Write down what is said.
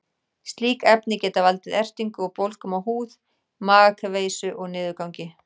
Slík efni geta valdið ertingu og bólgum á húð, magakveisu og niðurgangi.